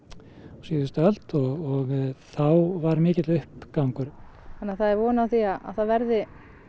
á síðustu öld og þá var mikill uppgangur þannig að það er von á því að það verði